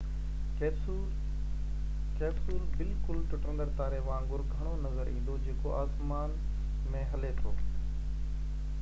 capsule بلڪل ٽٽندڙ تاري وانگر گهڻو نظر ايندو جيڪو آسمان ۾ هلي ٿو